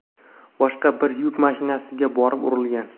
boshqa bir yuk mashinasiga borib urilgan.